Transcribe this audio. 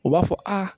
U b'a fɔ aa